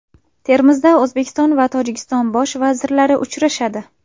Termizda O‘zbekiston va Tojikiston Bosh vazirlari uchrashadi.